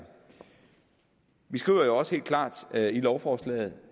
vi skriver jo også helt klart i lovforslaget